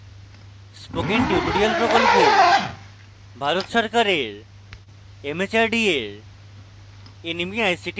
spoken tutorial project Bharat সরকারের mhrd এর nmeict দ্বারা সমর্থিত